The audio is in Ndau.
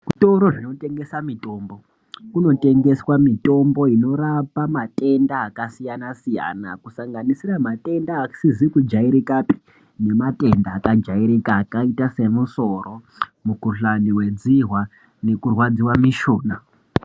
Kuzvitoro zvinotengesa mitombo kunotengeswa mitombo inorapa matenda akasiyana-siyana. Kusanganisira matenda asizi kujairikapi nematenda akajairika akaita semusoro mukuhlani vedzihwa nekurwadziva mishuna.